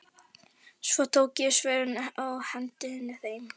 Svo tók ég svörin og henti þeim.